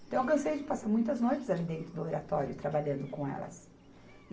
Então, eu cansei de passar muitas noites ali dentro do Oratório, trabalhando com elas. E